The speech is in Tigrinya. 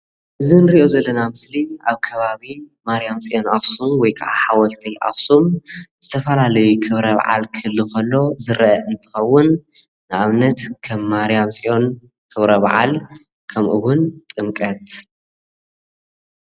ኣብ ማርያም ፅዮን በዓላት ህዝቢ እንትስዕም ንኣብነት ከም ጥምቀት